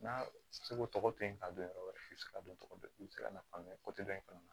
N'a bɛ se ko tɔgɔ to yen ka don yɔrɔ wɛrɛ i bɛ se ka don tɔgɔ i bɛ se ka na faamuya dɔ in fana na